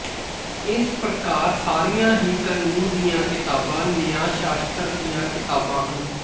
ਇਸ ਪ੍ਰਕਾਰ ਸਾਰੀਆਂ ਹੀ ਕਾਨੂੰਨ ਦੀਆਂ ਕਿਤਾਬਾਂ ਨਿਆਂਸ਼ਾਸ਼ਤਰ ਦੀਆ ਕਿਤਾਬਾਂ ਹਨ